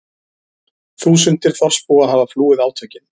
Þúsundir þorpsbúa hafa flúið átökin